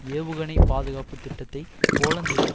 ஏவுகணை பாதுகாப்பு திட்டத்தை போலந்திலும்